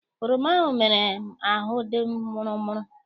Oroma ahụ mere ahụ m dị mụrụ mụrụ.